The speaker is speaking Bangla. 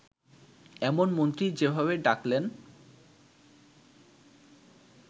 এমন মন্ত্রী যেভাবে ডাকলেন